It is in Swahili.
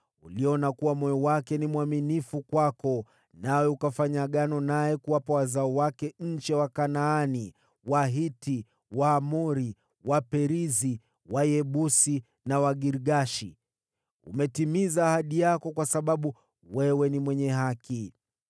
Uliona kuwa moyo wake ni mwaminifu kwako, nawe ukafanya Agano naye kuwapa wazao wake nchi ya Wakanaani, Wahiti, Waamori, Waperizi, Wayebusi na Wagirgashi. Umetimiza ahadi yako kwa sababu wewe ni mwenye haki.